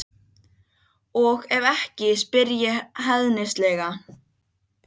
Flugfélag Íslands hafði starfað um árabil þegar Loftleiðir hófu störf.